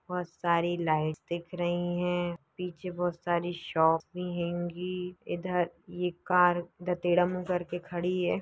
बहोत सारी लाइटस् दिख रही है। पीछे बहोत सारी शॉपस भी हैंगी। इधर ये कार करके खड़ी है।